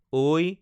ঐ